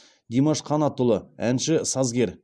димаш қанатұлы әнші сазгер